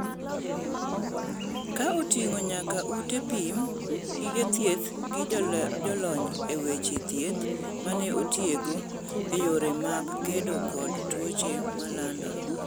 ka oting'o nyaka ute pim, gige thieth gi jolony e weche thieth mane otiegi e yore mag kedo kod tuoche malandore